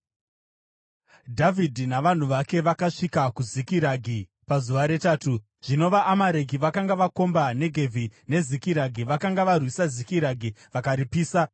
Dhavhidhi navanhu vake vakasvika kuZikiragi pazuva retatu. Zvino vaAmareki vakanga vakomba Negevhi neZikiragi. Vakanga varwisa Zikiragi vakaripisa,